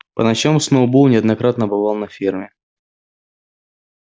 по ночам сноуболл неоднократно бывал на ферме